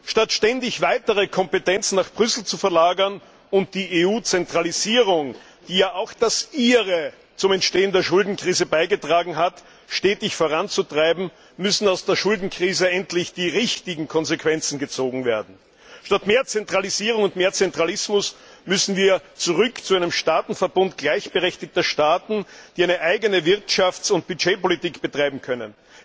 Statt ständig weitere Kompetenzen nach Brüssel zu verlagern und die EU Zentralisierung, die ja auch das Ihre zum Entstehen der Schuldenkrise beigetragen hat, stetig voranzutreiben, müssen aus der Schuldenkrise endlich die richtigen Konsequenzen gezogen werden. Statt mehr Zentralisierung und mehr Zentralismus müssen wir zurück zu einem Staatenverbund gleichberechtigter Staaten, die eine eigene Wirtschafts und Budgetpolitik betreiben können.